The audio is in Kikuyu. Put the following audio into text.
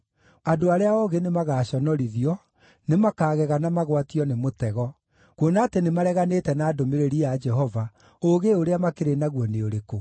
Andũ arĩa oogĩ nĩmagaconorithio; nĩmakagega na magwatio nĩ mũtego. Kuona atĩ nĩmareganĩte na ndũmĩrĩri ya Jehova, ũũgĩ ũrĩa makĩrĩ naguo nĩ ũrĩkũ?